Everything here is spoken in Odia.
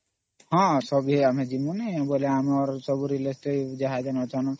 ସବୁ ଆମେ ଯିବୁ ଯେତିକି ଆମର relative ଅଛନ୍ତ